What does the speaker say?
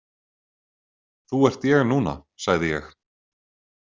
Þú ert ég núna, sagði ég.